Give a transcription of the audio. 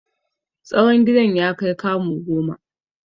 Tsawon gidan ya kai kamu goma.